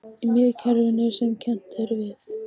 Í miðkerfinu sem kennt er við